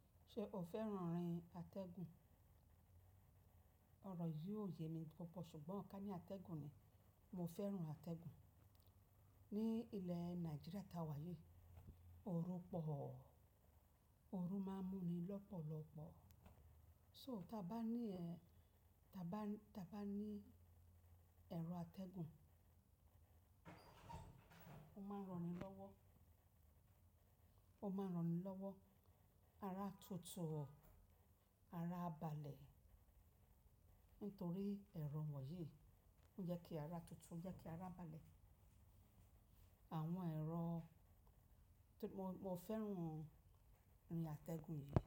Ṣe o fẹ́ràn rin atẹ́gùn? Ọ̀rọ̀ yìí ò yẹ mi púpọ̀ ṣùgbọ́n ká ní atẹ́gùn ni, mo fẹ́ràn atẹ́gùn. Ní ilẹ̀ Nàìjíríà ta wà yìí, ooru pọ̀. Ooru máa ń mú ni lọ́pọ̀lọ́pọ̀. So tí a bá ní, tí a bá, tí a bá ní ẹ̀rọ atẹ́gùn, ó máa ń rọ̀ni lọ́wọ́, ó máa ń rọ̀ni lọ́wọ́. Ara tutu, ara abalẹ̀. Nítorí ẹ̀rọ wọ̀nyí ń jẹ́ kí ara tuntun, ń jẹ́ kí ara balẹ̀. Àwọn ẹ̀rọ tó mo, mo fẹ́ràn ori atẹ́gùn yìí.